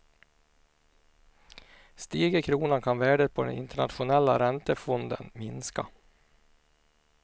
Stiger kronan kan värdet på den internationella räntefonden minska.